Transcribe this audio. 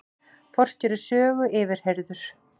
Forstjóri Sögu yfirheyrður